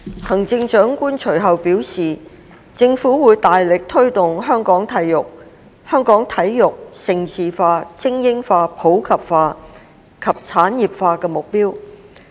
行政長官隨後表示，政府會大力推進香港體育盛事化、精英化、普及化及產業化的目標。